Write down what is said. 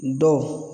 Dɔw